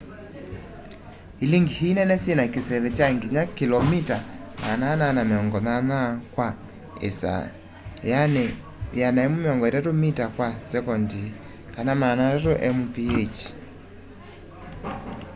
ilingi ii nene syina kiseve kya nginya 480 km/h 133 m/s; 300 mph